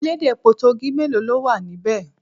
Elédè Potogí mélòó ló wà níbẹ̀?